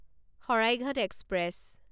Saraighat express